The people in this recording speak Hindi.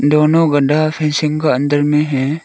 दोनों गढ्ढा फेंसिंग का अंदर में है।